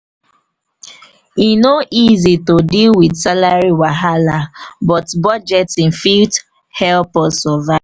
e no easy to deal with salary wahala but budgeting fit help us survive.